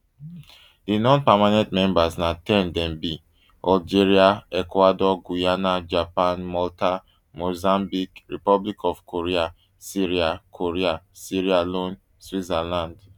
di nonpermanent members na ten dem be algeria ecuador guyana japan malta mozambique republic of korea sierra korea sierra leone switzerland